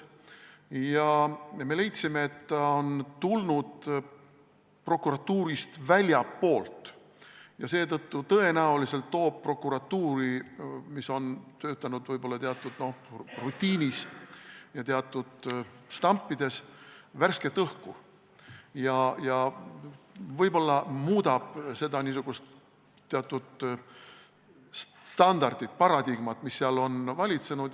Ja me leidsime, et ta tuleb väljastpoolt prokuratuuri ja seetõttu tõenäoliselt toob prokuratuuri, kus esineb võib-olla rutiini ja teatud stampe, värsket õhku, võib-olla ta muudab teatud standardit, paradigmat, mis seal on valitsenud.